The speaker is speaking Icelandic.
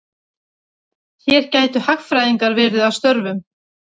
Hér gætu hagfræðingar verið að störfum.